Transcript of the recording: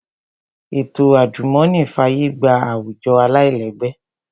Ètò àjùmọ̀ní fàyè gba àwùjọ aláìlẹ́gbẹ́